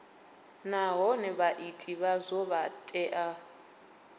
nahone vhaiti vhazwo vha tea